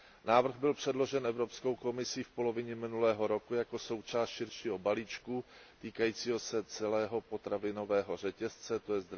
Návrh byl předložen Evropskou komisí v polovině minulého roku jako součást širšího balíčku týkajícího se celého potravinového řetězce, tj.